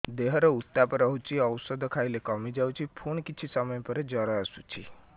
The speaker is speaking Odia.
ଦେହର ଉତ୍ତାପ ରହୁଛି ଔଷଧ ଖାଇଲେ କମିଯାଉଛି ପୁଣି କିଛି ସମୟ ପରେ ଜ୍ୱର ଆସୁଛି